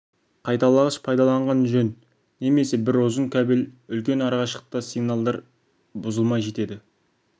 қайталағыш пайдаланған жөн немесе бір ұзын кабель үлкен арақашықтықта сигналдар бұзылмай жетеді